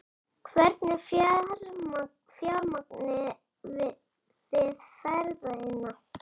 Hvernig fjármagnið þið ferðina?